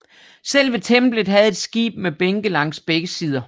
Selve templet havde et skib med bænke langs begge sider